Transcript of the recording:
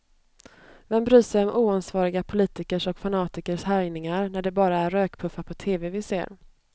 Vem bryr sig om oansvariga politikers och fanatikers härjningar, när det bara är rökpuffar på tv vi ser.